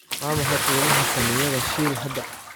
waa maxay qiimaha saamiyada shell hadda